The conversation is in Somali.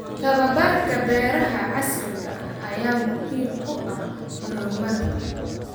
Tababarka beeraha casriga ah ayaa muhiim u ah horumarka.